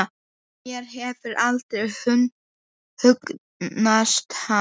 Mér hefur aldrei hugnast hann.